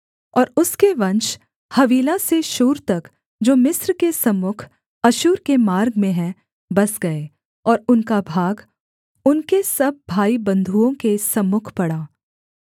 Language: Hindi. और उसके वंश हवीला से शूर तक जो मिस्र के सम्मुख अश्शूर के मार्ग में है बस गए और उनका भाग उनके सब भाईबन्धुओं के सम्मुख पड़ा